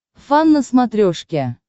фан на смотрешке